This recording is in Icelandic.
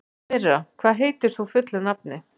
Myrra, hvað heitir þú fullu nafni?